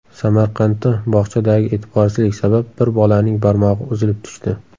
Samarqandda bog‘chadagi e’tiborsizlik sabab bir bolaning barmog‘i uzilib tushdi.